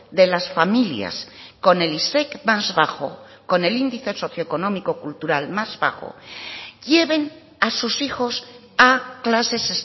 de las familias con el isec más bajo con el índice socioeconómico cultural más bajo lleven a sus hijos a clases